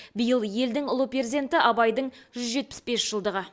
биыл елдің ұлы перзенті абайдың жүз жетпіс бес жылдығы